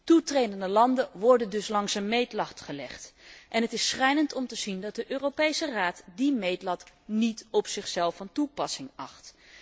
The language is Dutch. Toetredende landen worden dus langs een meetlat gelegd en het is schrijnend om te zien dat de Europese Raad die meetlat niet op zichzelf van toepassing acht.